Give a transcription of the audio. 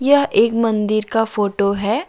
यह एक मंदिर का फोटो है।